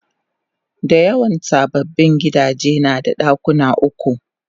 Dayawan sababbin gidaje nada dakuna uku